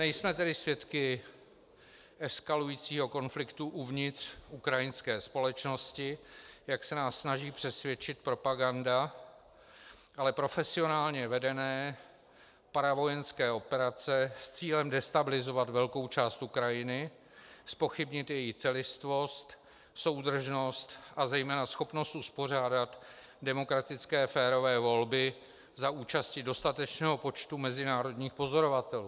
Nejsme tedy svědky eskalujícího konfliktu uvnitř ukrajinské společnosti, jak se nás snaží přesvědčit propaganda, ale profesionálně vedené paravojenské operace s cílem destabilizovat velkou část Ukrajiny, zpochybnit její celistvost, soudržnost a zejména schopnost uspořádat demokratické férové volby za účasti dostatečného počtu mezinárodních pozorovatelů.